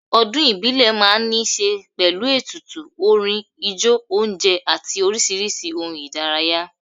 Ọdún ìbílẹ̀ máa ń níṣe pẹ̀lú, ètùtù, orin, ijó, oúnjẹ àti oríṣiríṣi ohun ìdárayá